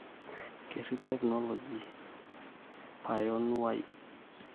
Kerip teknoloji bayoanuwai